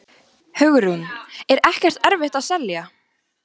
Hugrún: Er ekkert erfitt að selja?